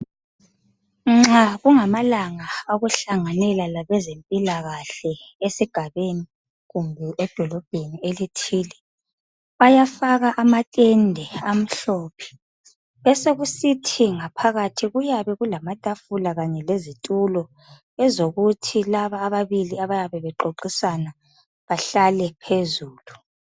Nxa kungamalanga awokuhlanganela labezempilakahle esigabeni kumbe edolobheni elithile. Bayafaka amatende amhlophe besokusithi ngaphakathi kuyabe kulamatafula kanye lezitulo ezokuthi laba ababili abayabe bexoxisana bahlale phezulu.